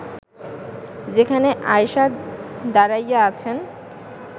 যেখানে আয়েষা দাঁড়াইয়া আছেন